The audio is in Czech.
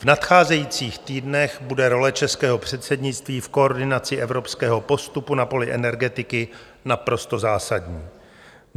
V nadcházejících týdnech bude role českého předsednictví v koordinaci evropského postupu na poli energetiky naprosto zásadní.